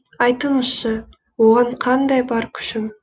айтыңызшы оған қандай бар күшім